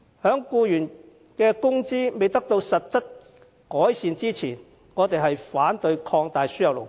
由於僱員工資未能得到實質改善，我們反對擴大輸入勞工。